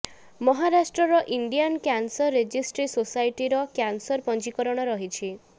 ମହାରାଷ୍ଟ୍ରର Indian cancer registry ସୋସାଇଟିର cancer ପଞ୍ଜୀକରଣ ରହିଛି